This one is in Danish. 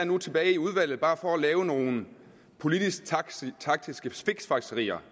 nu tilbage i udvalget bare for at lave nogle politisk taktiske fiksfakserier